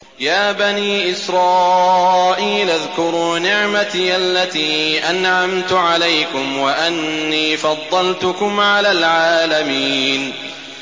يَا بَنِي إِسْرَائِيلَ اذْكُرُوا نِعْمَتِيَ الَّتِي أَنْعَمْتُ عَلَيْكُمْ وَأَنِّي فَضَّلْتُكُمْ عَلَى الْعَالَمِينَ